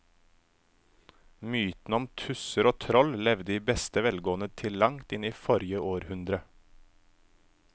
Mytene om tusser og troll levde i beste velgående til langt inn i forrige århundre.